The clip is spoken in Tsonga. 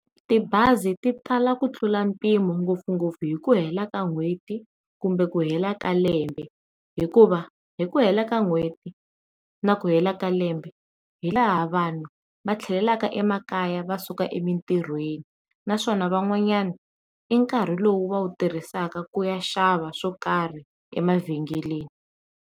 Tibazi ti tala ku tlula mpimo ngopfungopfu hi ku hela ka n'hweti kumbe ku hela ka lembe hikuva hi ku hela ka n'hweti na ku hela ka lembe hi laha vanhu va tlhelelaka emakaya va suka emintirhweni, naswona van'wanyani i nkarhi lowu va wu tirhisaka ku ya xava swo karhi emavhengeleni.